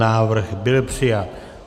Návrh byl přijat.